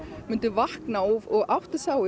myndi vakna og átta sig á